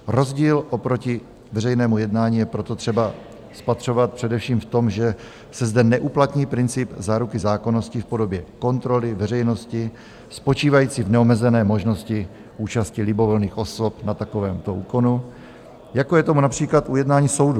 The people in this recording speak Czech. Rozdíl oproti veřejnému jednání je proto třeba spatřovat především v tom, že se zde neuplatní princip záruky zákonnosti v podobě kontroly veřejnosti spočívající v neomezené možnosti účasti libovolných osob na takovémto úkonu, jako je tomu například ujednání soudu.